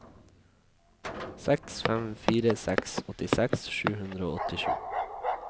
seks fem fire seks åttiseks sju hundre og åttisju